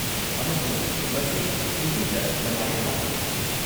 ꯑꯃꯁꯨꯡ ꯃꯁꯤ ꯍꯤꯟꯗꯤꯗ ꯀꯃꯥꯏꯅ ꯂꯥꯛꯏꯅꯣ?